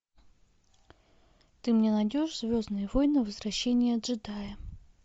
ты мне найдешь звездные войны возвращение джедая